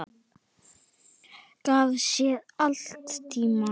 Gaf sér alltaf tíma.